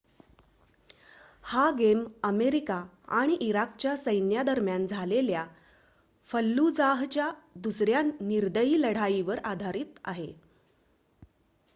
हा game America आणि इराकच्या सैन्यादरम्यान झालेल्या फल्लुजाहच्या दुसऱ्या निर्दयी लढाईवर आधारीत आहे